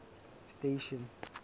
station